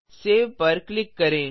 save पर click करें